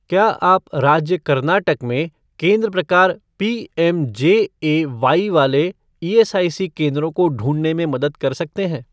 क्या आप राज्य कर्नाटक में केंद्र प्रकार पीएमजेएवाई वाले ईएसआईसी केंद्रों को ढूँढने में मदद कर सकते हैं?